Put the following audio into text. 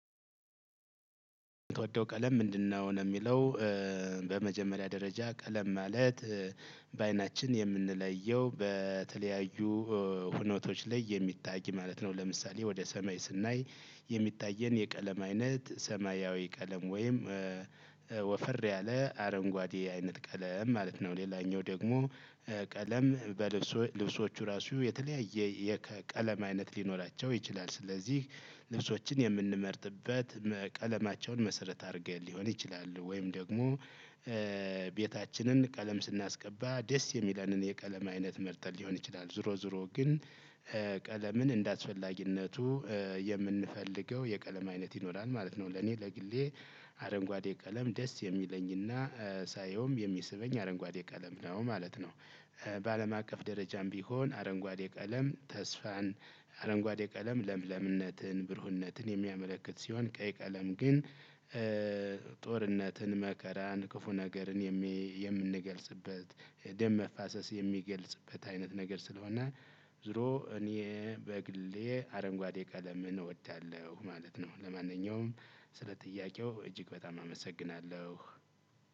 የምትወደው ቀለም ምንድነው? ነው ለሚለው በመጀመሪያ ደረጃ ቀለም ማለት በአይናችን የምንለየው በተለያዩ ሁኔታዎች ላይ የሚታይ ማለት ነው። ለምሳሌ ወደ ሰማይ ስናይ የሚታየን የቀለም አይነት ሰማያዊ ቀለም ወይም ወፈር ያለ አረንጓዴ አይነት ቀለም ማለት ነው። ሌላኛው ደግሞ ቀለም በልብሶ ልብሶቹ ራሱ የተለያየ የቀለም አይነት ሊኖራቸው ይችላል። ስለዚህ ልብሶችን የምንመርጥበት ቀለማቸውን መሰረት አድርገን ሊሆን ይችላል። ወይም ደግሞ ቤታችንን ቀለም ስናስቀባ ደስ የሚለንን የቀለም አይነት መርጠን ሊሆን ይችላል። ዙሮ ዙሮ ግን ቀለምን እንደአስፈላጊነቱ የምንፈልገው የቀለም አይነት ይኖራል ማለት ነው። ለኔ ለግሌ አረንጓዴ ቀለም ደስ የሚለኝና ሳየውም የሚስበኝ አረንጓዴ ቀለም ነው ማለት ነው። በአለም አቀፍ ደረጃም ቢሆን አረንጓዴ ቀለም ተስፋን አረንጓዴ ቀለም ለምለምነትን ብሩህነትን የሚያመለክት ሲሆን። ቀይ ቀለም ግን ጦርነትን መከራን ክፉ ነገርን የምንገልጽበት ደም መፋሰስ የሚገልጽበት አይነት ነገር ስለሆነ። ዙሮ እኔ በግሌ አረንጓዴ ቀለምን እወዳለሁ ማለት ነው። ለማንኛውም ስለ ጥያቄው እጅግ በጣም አመሰግናለሁ።